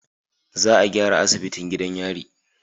Za a gyara asibitin gidan yari